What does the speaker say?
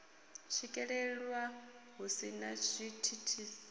swikelelwa hu si na zwithithisi